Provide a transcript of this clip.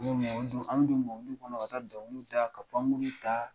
an bɛ don mɔbiliw kɔnɔ ka dɔnkiliw da ka pankurun ta